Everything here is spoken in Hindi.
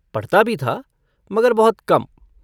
पढ़ता भी था मगर बहुत कम।